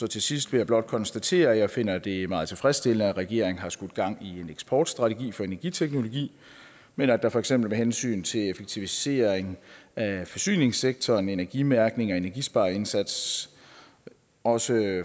til sidst vil jeg blot konstatere at jeg finder det meget tilfredsstillende at regeringen har skudt gang i en eksportstrategi for energiteknologi men at der for eksempel med hensyn til effektivisering af forsyningssektoren energimærkning og energispareindsats også